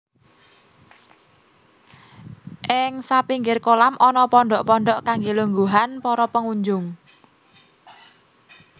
Ing sapinggir kolam ana pondhok pondhok kangge lungguhan para pengunjung